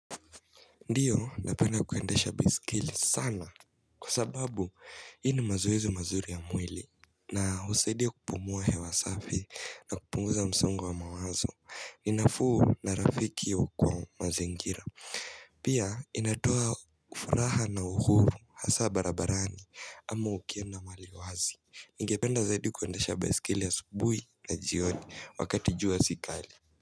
Ndiyo napenda kuendesha baskeli sana kwa sababu hii ni mazoezi mazuri ya mwili na husaidia kupumua hewa safi na kupunguza msongo wa mawazo ni nafuu na rafiki wa kwa mazenjira Pia inatoa furaha na uhuru hasa barabarani ama ukienda mahali wazi, ningependa zaidi kuendesha baiskeli asubuhi na jioni wakati jua si kali.